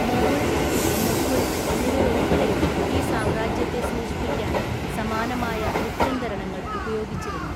Mogul, Mughal എന്നിവയുൾപ്പെടെ ഈ സാമ്രാജ്യത്തെ സൂചിപ്പിക്കാൻ സമാനമായ ലിപ്യന്തരണങ്ങൾ ഉപയോഗിച്ചിരുന്നു.